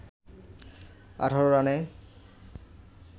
১৮ রানে